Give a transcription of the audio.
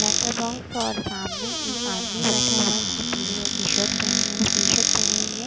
Letter box और सामने एक आदमी बैठा हुआ है जिसने पीले रंग की शर्ट पहनी टी शर्ट हुई है।